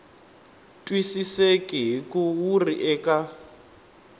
twisiseki hikuva wu ri eka